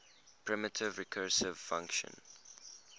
primitive recursive function